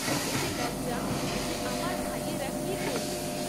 এতে লজ্জা, যে আমার ভাইয়েরা কী করলো!